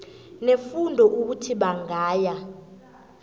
nefundo ukuthi bangaya